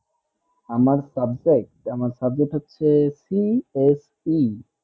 আমার subject আমার subject হচ্ছে cse